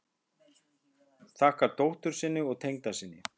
Þakkar dóttur sinni og tengdasyni